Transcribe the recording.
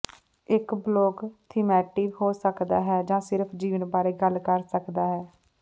ਇੱਕ blog thematic ਹੋ ਸਕਦਾ ਹੈ ਜਾਂ ਸਿਰਫ ਜੀਵਨ ਬਾਰੇ ਗੱਲ ਕਰ ਸਕਦਾ ਹੈ